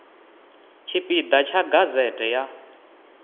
tshipi ḓa tsha gazete ya